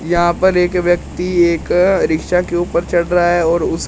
यहां पर एक व्यक्ति एक रिक्शा के ऊपर चढ़ रा है और उसके --